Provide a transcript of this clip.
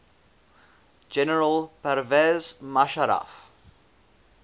general pervez musharraf